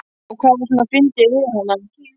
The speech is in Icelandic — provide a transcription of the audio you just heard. Og hvað var svona fyndið við hana?